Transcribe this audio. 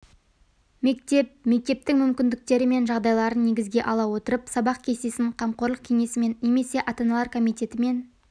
мектеп мектептің мүмкіндіктері мен жағдайларын негізге ала отырып сабақ кестесін қамқорлық кеңесімен немесе ата-аналар комитетімен